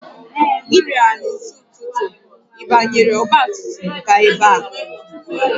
Ị bịara n'isi ụtụtụ, ị banyere ọgba tum tum gaa ebe a?